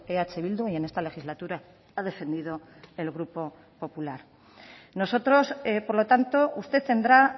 eh bildu y en esta legislatura ha defendido el grupo popular nosotros por lo tanto usted tendrá